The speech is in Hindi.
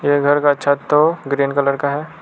ये घर का छत तो ग्रीन कलर का है।